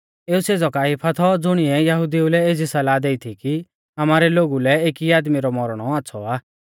एऊ सेज़ौ काइफा थौ ज़ुणिऐ यहुदिऊ लै एज़ी सलाह देई थी कि आमारै लोगु लै एकी आदमी रौ मौरणौ आच़्छ़ौ आ